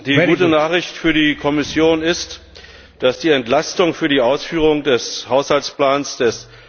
Herr Präsident! Die gute Nachricht für die Kommission ist, dass die Entlastung für die Ausführung des Haushaltsplans des